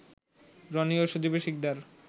রনি ও সজিব শিকদার